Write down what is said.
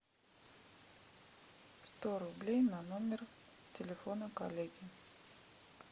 сто рублей на номер телефона коллеги